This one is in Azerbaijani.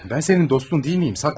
Ben senin dostun değil miyim?